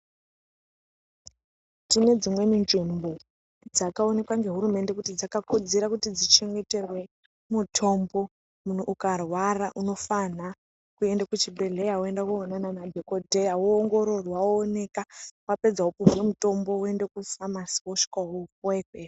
Tine rzimweni nzvimbo dzakaonekwa ngehurumende kuti dzakakodzera kuti dzichengeterwe mutombo munhu ukarwara unofanha kuende kuchibhedhleya woendoonana dhokoteya woongororwa wooneka wapedza wopuwe mutombo woende kufamasi wosvika wopuwe ikweyo.